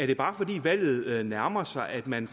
det bare er fordi valget nærmer sig at man